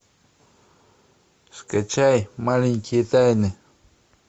скачай маленькие тайны